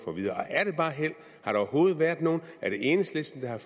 at vide og er det bare held har der overhovedet været noget er det enhedslisten der har